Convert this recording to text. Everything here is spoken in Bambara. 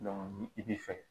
ni i bi fɛ